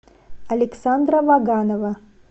александра ваганова